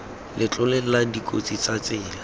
letlole la dikotsi tsa tsela